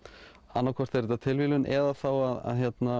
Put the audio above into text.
annaðhvort er þetta tilviljun eða þá að